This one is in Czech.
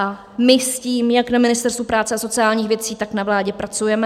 A my s tím jak na Ministerstvu práce a sociálních věcí, tak na vládě pracujeme.